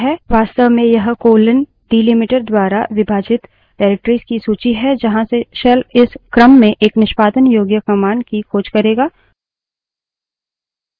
वास्तव में यह colon delimiter द्वारा विभाजित निर्देशिकाओं directories की सूची है जहाँ से shell इस क्रम में एक निष्पादन योग्य command की खोज करेंगा